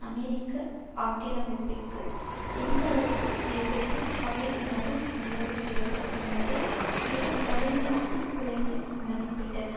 America ஆக்கிரமிப்பிற்கு எந்தளவிற்கு எதிர்ப்பும் பகை உணர்வும் நிலவுகிறது என்பதை மிக கடுமையாக குறைத்து மதிப்பிட்டன